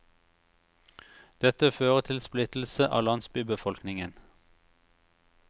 Dette fører til splittelse av landsbybefolkningen.